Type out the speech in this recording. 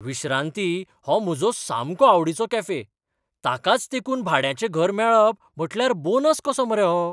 विश्रांती हो म्हजो सामको आवडिचो कॅफे. ताकाच तेंकून भाड्याचें घर मेळप म्हटल्यार बोनस कसो मरे हो!